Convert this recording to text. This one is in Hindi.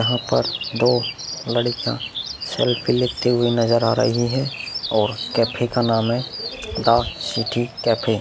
यहा पर दो लड़किया सेल्फ़ी लेते हुए नजर आ रही हैं और कैफै का नाम है द सिटी कैफै ।